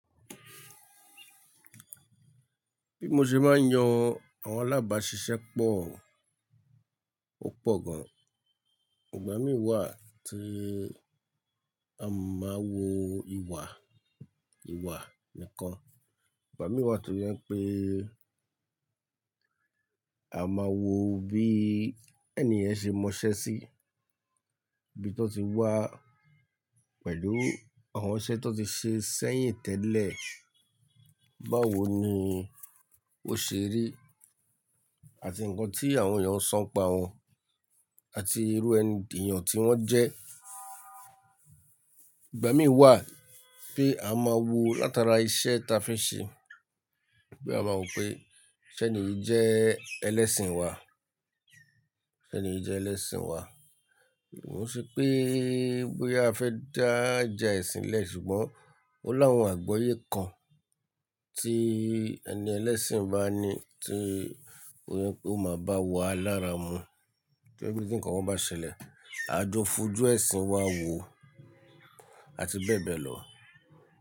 Bí mo ṣe máa ń yan àwọn alábàáṣiṣẹ́ pọ̀, ó pọ̀ gan. Ìgbà mí wà tí a máa wo ìwà, ìwà nìkan. Ìgbà mí wà to jẹn pé a máa wo bí ẹni yẹn ṣe mọṣẹ́ sí, bí tó ti wá pẹ̀lú àwọn iṣẹ́ tó ti ṣe sẹ́yìn tẹ́lẹ̀, báwo ni ó ṣe rí àti nǹkan tí àwọn èèyàn ó san pa wọ́n àti irú ẹni di èèyàn tí wọ́n jẹ́. Ìgbà mí wà pé a máa wo látara iṣẹ́ ta fi ṣe. Bí a máa wò pé ṣé ènìyí jẹ́ ẹlẹ́sìn wa, ṣé ènìyí jẹ́ ẹlẹ́sìn wa. Ó ṣe pé bóyá a fẹ́ dá ìjà ẹ̀sìn lẹ̀ ṣùgbọ́n ó láwọn àgbáyé kan tí ẹni ẹlẹ́sìn bá ní tí ó yẹ kó máa bá wà lára mu kí ẹní tí nǹkan wọn bá ṣẹlẹ̀, àjọ fojú ẹ̀sìn wa wò àti bẹ́ẹ̀ bẹ́ẹ̀ lọ.